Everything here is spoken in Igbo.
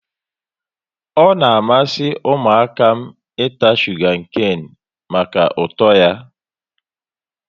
Ọ na amasị ụmụaka m ịta shuga kane maka ụtọ ya